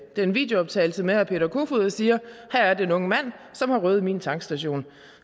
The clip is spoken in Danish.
den videooptagelse med herre peter kofod og siger at her er den unge mand som har røvet min tankstation